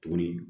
Tuguni